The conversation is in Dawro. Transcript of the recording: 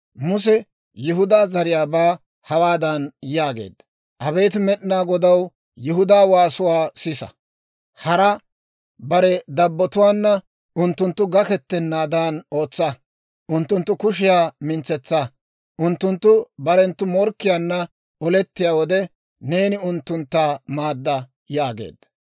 Muse Yihudaa zariyaabaa hawaadan yaageedda; «Abeet Med'inaa Godaw, Yihudaa waasuwaa sisa; hara bare dabbotuwaana unttunttu gakettanaadan ootsa. Unttunttu kushiyaa mintsetsa; unttunttu barenttu morkkiyaanna olettiyaa wode, neeni unttuntta maadda!» yaageedda.